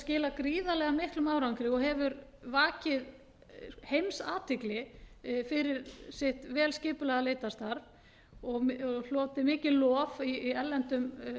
skilað gríðarlega miklum árangri og hefur vakið heimsathygli fyrir sitt vel skipulagða leitarstarf og hlotið mikið lof í erlendum